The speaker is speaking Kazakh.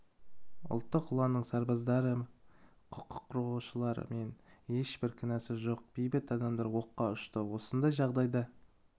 ұлттық ұланның сарбаздары құқық қорғаушылар мен ешбір кінәсі жоқ бейбіт адамдар оққа ұшты осындай жағдайда